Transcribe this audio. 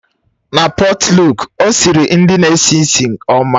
Na pọtluk, ọ siri nri na-esi ísì ọma.